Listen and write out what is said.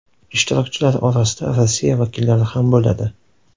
Ishtirokchilar orasida Rossiya vakillari ham bo‘ladi.